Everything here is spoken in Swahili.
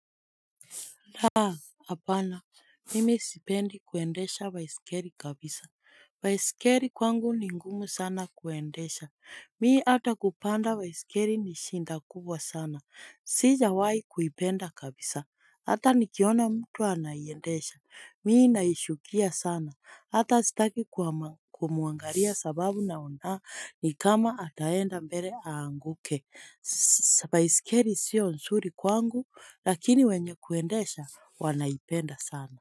La, hapana, mimi sipendi kuendesha baiskeli kabisa. Baiskeli kwangu ni ngumu sana kuendesha. Mi hata kupanda baiskeli ni shida kubwa sana. Sijawahi kuipenda kabisa. Hata nikiona mtu anaiendesha. Mi naichukia sana. Hata sitaki kumwangalia sababu naona ni kama ataenda mbele aanguke. Baisikeli sio nzuri kwangu lakini wenye kuendesha wanaipenda sana.